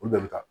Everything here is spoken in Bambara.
Olu bɛɛ bɛ taa